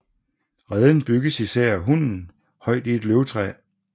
Reden bygges især af hunnen højt i et løvtræ